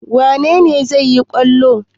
Wane ne zai yi kwallon?